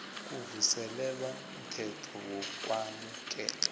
kuvuselelwa mthetho wokwamukelwa